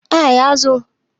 A ya zo